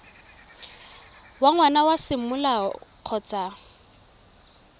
wa ngwana wa semolao kgotsa